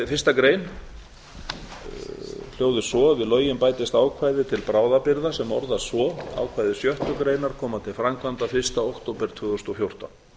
fyrsta grein við lögin bætist ákvæði til bráðabirgða sem orðast svo ákvæði sjöttu greinar koma til framkvæmda fyrsta október tvö þúsund og fjórtán